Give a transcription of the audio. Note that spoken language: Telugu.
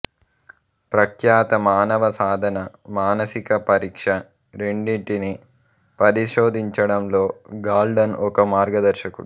ప్రఖ్యాత మానవ సాధన మానసిక పరీక్ష రెండింటినీ పరిశోధించడంలో గాల్టన్ ఒక మార్గదర్శకుడు